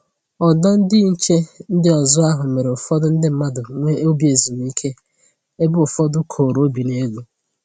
Ọdụ ndị nche ndị ọzọ ahụ mere ụfọdụ ndị mmadụ nwee obi ezumike ebe ụfọdụ koro obi n'elu